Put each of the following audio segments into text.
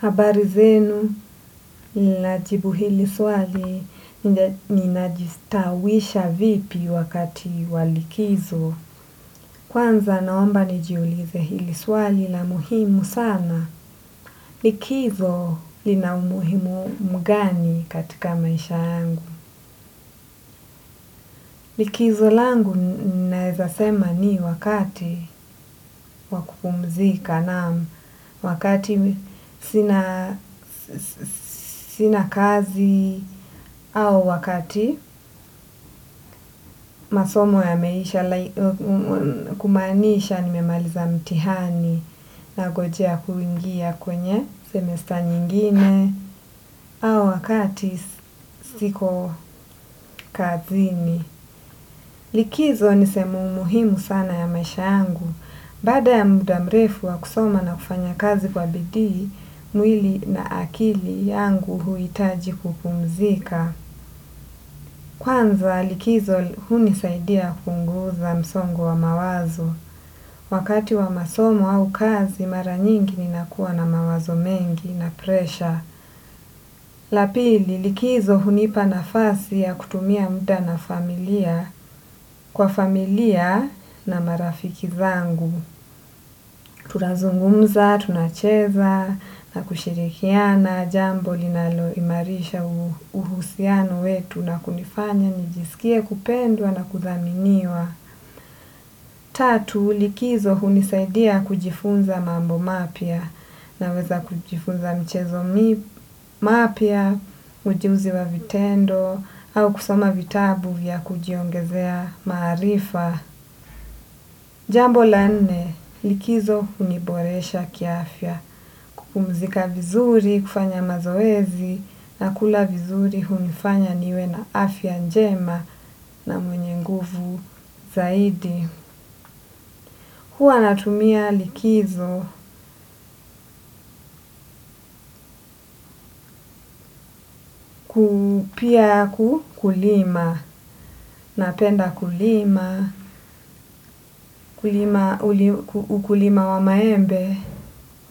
Habari zenu, ninajibu hili swali. Ninajistawisha vipi wakati walikizo? Kwanza naomba nijiulize hili swali la muhimu sana. Likizo lina umuhimu mgani katika maisha yangu. Likizo langu naweza sema ni wakati wa kupumzika, naam, wakati sina sina kazi au wakati masomo yameisha, kumaanisha nimemaliza mtihani nangojea kuingia kwenye semester nyingine au wakati siko kazini. Likizo ni sehemu muhimu sana ya maisha yangu. Baada ya muda mrefu wa kusoma na kufanya kazi kwa bidii, mwilii na akili yangu huhitaji kupumzika. Kwanza likizo hunisaidia kupunguza msongo wa mawazo. Wakati wa masomo au kazi mara nyingi, ninakuwa na mawazo mengi na presha. La pili, likizo hunipa nafasi ya kutumia muda na familia. Kwa familia na marafiki zangu. Tunazungumza, tunacheza, na kushirikiana, jambo linaloimarisha uhusiano wetu na kunifanya nijisikie kupendwa na kuthaminiwa. Tatu, likizo hunisaidia kujifunza mambo mapya. Naweza kujifunza michezo mapya, ujuzi wa vitendo, au kusoma vitabu vya kujiongezea maarifa. Jambo la nne, likizo huniboresha kiafya, kupumzika vizuri, kufanya mazoezi, na kula vizuri hunifanya niwe na afya njema na mwenye nguvu zaidi. Huwa natumia likizo, kulima, napenda kulima, ukulima wa maembe,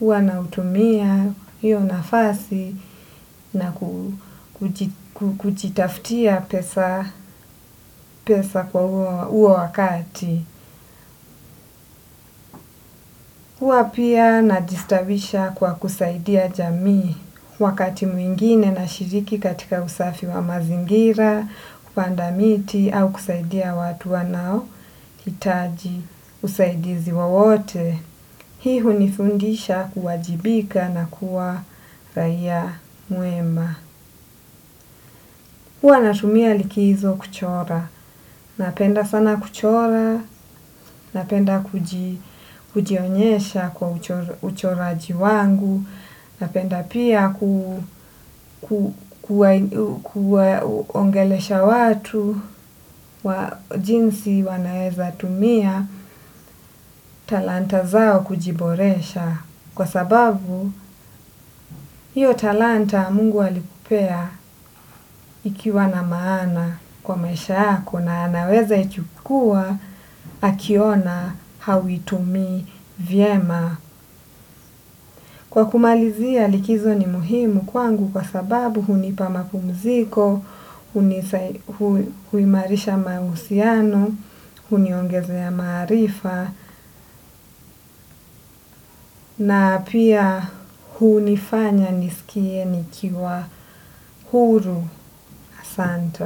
huwa nautumia hio nafasi na kujitafutia pesa kwa huo wakati. Huwa pia najistawisha kwa kusaidia jamii. Wakati mwingine nashiriki katika usafi wa mazingira, kupandamiti au kusaidia watu wanaohitaji usaidizi wowote. Hii hunifundisha kuwajibika na kuwa raia mwema. Huwa natumia likizo kuchora. Napenda sana kuchora, napenda kujionyesha kwa uchoraji wangu, napenda pia kuongelesha watu jinsi wanaweza tumia talanta zao kujiboresha. Kwa sababu, hio talanta Mungu alikupea ikiwa na maana kwa maisha yako, na anaweza ichukua akiona hauitumii vyema. Kwa kumalizia, likizo ni muhimu kwangu kwa sababu, hunipa mapumziko, huimarisha mahusiano, huniongezea maarifa, na pia hunifanya nisikie nikiwa huru. Asante.